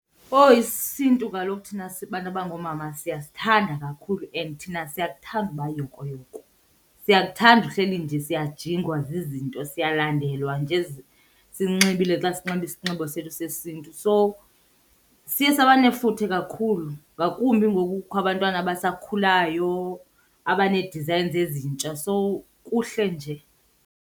Owu, isiNtu kaloku thina sibantu abangoomama siyasithanda kakhulu and thina siyakuthanda uba yokoyoko. Siyakuthanda uhleli nje siyajingwa zizinto, siyalandelwa nje sinxibile xa sinxibe isinxibo sethu sesiNtu. So siye saba nefuthe kakhulu ngakumbi ngoku kukho abantwana abasakhulayo abanee-designs ezintsha, so kuhle nje.